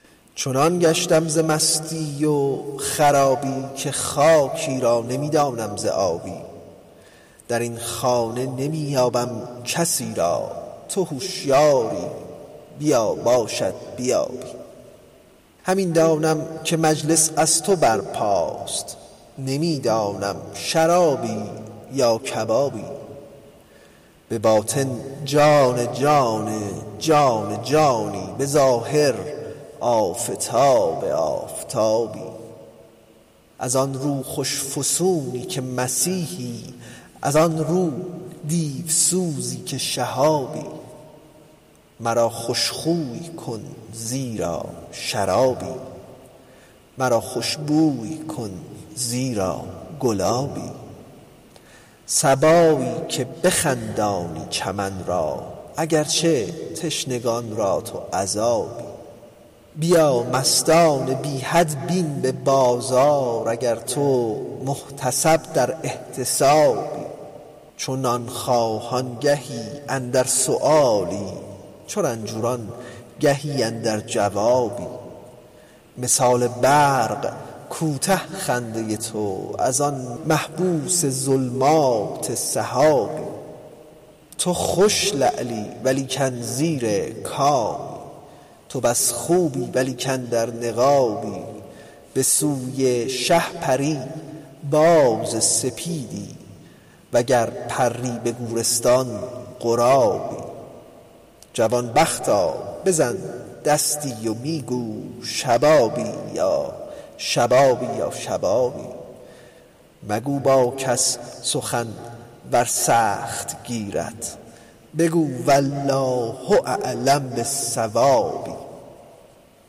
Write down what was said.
چنان گشتم ز مستی و خرابی که خاکی را نمی دانم ز آبی در این خانه نمی یابم کسی را تو هشیاری بیا باشد بیابی همین دانم که مجلس از تو برپاست نمی دانم شرابی یا کبابی به باطن جان جان جان جانی به ظاهر آفتاب آفتابی از آن رو خوش فسونی که مسیحی از آن رو دیوسوزی که شهابی مرا خوش خوی کن زیرا شرابی مرا خوش بوی کن زیرا گلابی صبایی که بخندانی چمن را اگر چه تشنگان را تو عذابی بیا مستان بی حد بین به بازار اگر تو محتسب در احتسابی چو نان خواهان گهی اندر سؤالی چو رنجوران گهی اندر جوابی مثال برق کوته خنده تو از آن محبوس ظلمات سحابی درآ در مجلس سلطان باقی ببین گردان جفان کالجوابی تو خوش لعلی ولیکن زیر کانی تو بس خوبی ولیکن در نقابی به سوی شه پری باز سپیدی وگر پری به گورستان غرابی جوان بختا بزن دستی و می گو شبابی یا شبابی یا شبابی مگو با کس سخن ور سخت گیرد بگو والله اعلم بالصواب